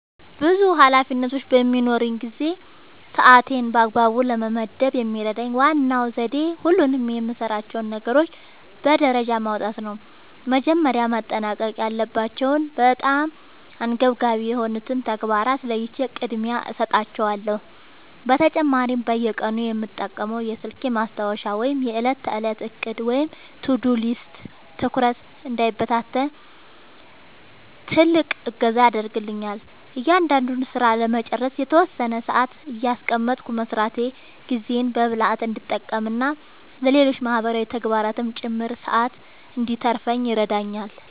ብዙ ኃላፊነቶች በሚኖሩኝ ጊዜ ሰዓቴን በአግባቡ ለመመደብ የሚረዳኝ ዋነኛው ዘዴ ሁሉንም የምሠራቸውን ነገሮች በደረጃ ማውጣት ነው። መጀመሪያ ማጠናቀቅ ያለባቸውንና በጣም አንገብጋቢ የሆኑትን ተግባራት ለይቼ ቅድሚያ እሰጣቸዋለሁ። በተጨማሪም በየቀኑ የምጠቀመው የስልኬ ማስታወሻ ወይም የዕለት ተዕለት ዕቅድ (To-Do List) ትኩረቴ እንዳይበታተን ትልቅ እገዛ ያደርግልኛል። እያንዳንዱን ሥራ ለመጨረስ የተወሰነ ሰዓት እያስቀመጥኩ መሥራቴ ጊዜዬን በብልሃት እንድጠቀምና ለሌሎች ማህበራዊ ተግባራትም ጭምር ሰዓት እንድተርፈኝ ይረዳኛል።